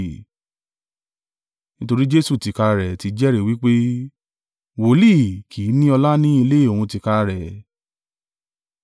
Nítorí Jesu tìkára rẹ̀ ti jẹ́rìí wí pé, Wòlíì kì í ní ọlá ní ilẹ̀ òun tìkára rẹ̀.